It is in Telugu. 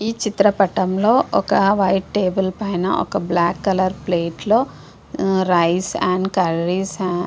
ఈ చిత్ర పటం లొ ఒక వైట్ టేబుల్ పైన ఒక బ్లాక్ ప్లేట్ లొ రైస్ అండ్ కర్రీస్ --